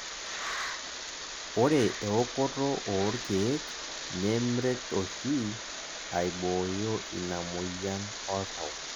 ore eokoto oorkeek nemret oshi aibooyo ina moyian oltau